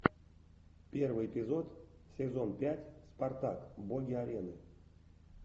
первый эпизод сезон пять спартак боги арены